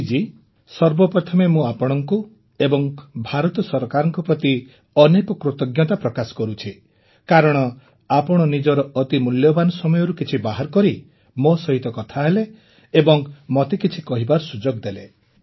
ମୋଦିଜୀ ସର୍ବପ୍ରଥମେ ମୁଁ ଆପଣଙ୍କ ଏବଂ ଭାରତ ସରକାରଙ୍କ ପ୍ରତି ଅନେକ କୃତଜ୍ଞତା ପ୍ରକାଶ କରୁଛି କାରଣ ଆପଣ ନିଜର ଅତି ମୂଲ୍ୟବାନ ସମୟରୁ କିଛି ବାହାର କରି ମୋ ସହିତ କଥା ହେଲେ ଏବଂ ମୋତେ କିଛି କହିବାର ସୁଯୋଗ ଦେଲେ